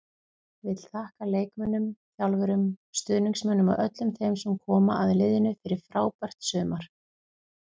Vill þakka leikmönnum, þjálfurum, stuðningsmönnum og öllum þeim sem koma að liðinu fyrir frábært sumar.